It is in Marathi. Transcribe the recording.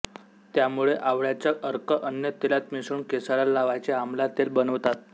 त्यामुळे आवळ्याचा अर्क अन्य तेलात मिसळून केसाला लावायचे आमला तेल बनवतात